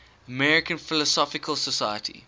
american philosophical society